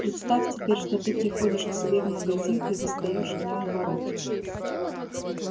представь теперь что ты приходишь к себе в магазин и застаёшь в нем воров